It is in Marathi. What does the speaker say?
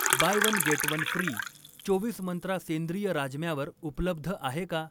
Bye one get one free' चोवीस मंत्रा सेंद्रिय राजम्यावर उपलब्ध आहे का?